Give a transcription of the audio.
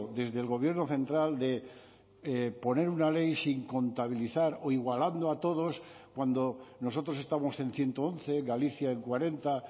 desde el gobierno central de poner una ley sin contabilizar o igualando a todos cuando nosotros estamos en ciento once galicia en cuarenta